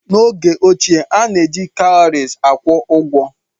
N'oge ochie, a na-eji kawuries akwụ ụgwọ.